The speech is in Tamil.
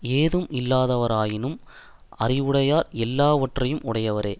ஏதும் இல்லாதவரானாலும் அறிவுடையார் எல்லாவற்றையும் உடையவரே